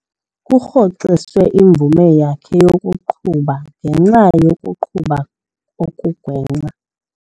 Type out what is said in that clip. Kurhoxiswe imvume yakhe yokuqhuba ngenxa yokuqhuba okugwenxa.